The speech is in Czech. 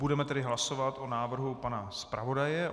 Budeme tedy hlasovat o návrhu pana zpravodaje.